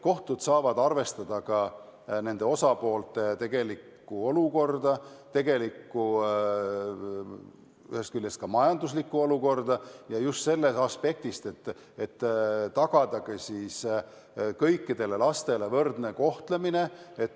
Kohtud saavad arvestada osapoolte tegelikku majanduslikku olukorda, lähtudes just sellest aspektist, et tuleb tagada kõikide laste võrdne kohtlemine.